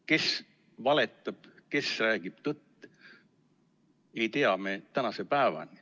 Kes valetab, kes räägib tõtt, seda ei tea me tänase päevani.